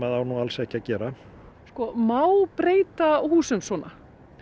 á nú alls ekki að gera má breyta húsum svona